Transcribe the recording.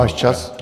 Váš čas.